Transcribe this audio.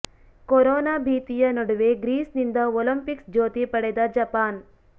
corona ಭೀತಿಯ ನಡುವೆ Greece ನಿಂದ ಒಲಿಂಪಿಕ್ಸ್ ಜ್ಯೋತಿ ಪಡೆದ ಜಪಾನ್